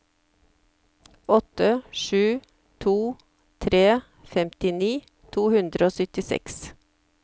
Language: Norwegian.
åtte sju to tre femtini to hundre og syttiseks